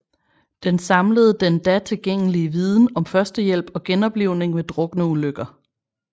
Den samlede den da tilgængelige viden om førstehjælp og genoplivning ved drukneulykker